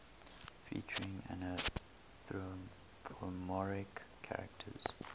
featuring anthropomorphic characters